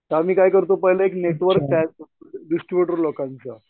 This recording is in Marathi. तेंव्हा मी काय करतो पहिला एक नेटवर्क तयार करतो, डिस्ट्रिब्युटर लोकांचा.